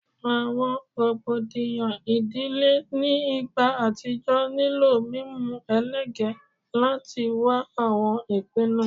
Awọn rogbodiyan idile ni igba atijọ nilo mimu elege lati wa awọn ipinnu